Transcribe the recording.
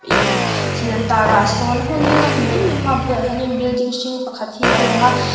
ih thil an tar ah sawn a hmun hi a nawm hmel em em a a bulah hian building hring pakhat hi a lang a.